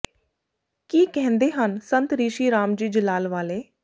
ਕੀ ਕਹਿੰਦੇ ਹਨ ਸੰਤ ਰਿਸ਼ੀ ਰਾਮ ਜੀ ਜਲਾਲ ਵਾਲੇ